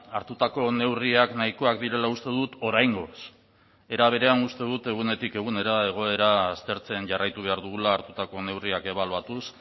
hartutako neurriak nahikoak direla uste dut oraingoz era berean uste dut egunetik egunera egoera aztertzen jarraitu behar dugula hartutako neurriak ebaluatuz